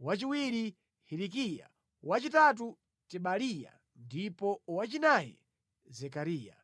wachiwiri Hilikiya, wachitatu Tebaliya ndipo wachinayi Zekariya.